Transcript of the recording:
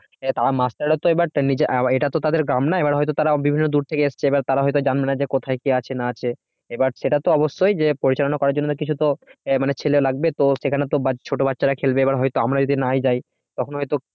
মাস্টাররা তো এবার এটাতো তাদের কাম না এবার হয়তো তারা বিভিন্ন দূর থেকে এবার তারা হয়তো জানবে না যে কোথায় কি আছে না আছে এবার সেটা তো অবশ্যই পরিচালনা করার জন্য না কিছু তো আহ ছেলে লাগবে তো সেখানে তো ছোট বাচ্চারা খেলবে এবার হয়তো আমরা যদি না-ই যাই তখন হয়তো